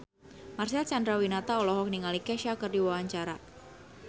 Marcel Chandrawinata olohok ningali Kesha keur diwawancara